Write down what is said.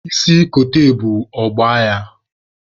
Isi kote ebu, ọ gbaa ya!